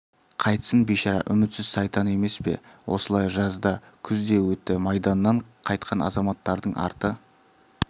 қайтсын бишара үмітсіз сайтан емес пе осылай жаз да күз де өтті майданнан қайтқан азаматтардың арты